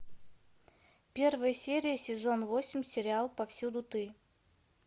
первая серия сезон восемь сериал повсюду ты